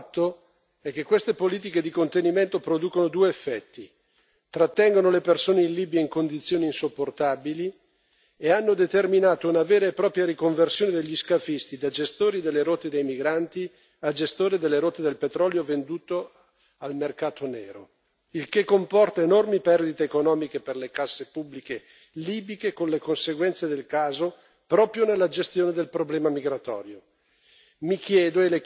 Quello che vediamo, di fatto, è che queste politiche di contenimento producono due effetti trattengono le persone in Libia in condizioni insopportabili e hanno determinato una vera e propria riconversione degli scafisti da gestori delle rotte dei migranti a gestori delle rotte del petrolio venduto al mercato nero, il che comporta enormi perdite economiche per le casse pubbliche libiche, con le conseguenze del caso, proprio nella gestione del problema migratorio.